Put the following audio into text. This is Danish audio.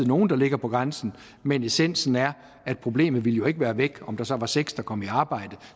nogle der ligger på grænsen men essensen er at problemet jo ikke ville være væk om der så var seks der kom i arbejde